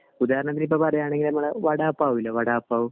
ഒരുകണക്കിന് പറയണെങ്കി നമ്മുടെ വടാപാവ് ഇല്ലേ വടാപാവ്